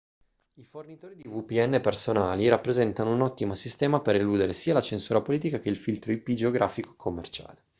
i fornitori di vpn personali rappresentano un ottimo sistema per eludere sia la censura politica che il filtro ip geografico commerciale